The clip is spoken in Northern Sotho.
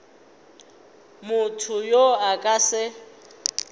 motho yo a ka se